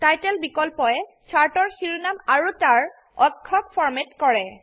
title বিকল্পয়ে চাৰ্টৰ শিৰোনাম আৰু তাৰ অক্ষক ফৰম্যাট কৰে